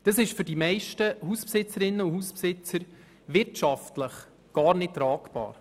Das ist für die meisten Hausbesitzerinnen und Hausbesitzer wirtschaftlich gar nicht tragbar.